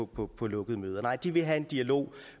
på på lukkede møder nej de vil have en dialog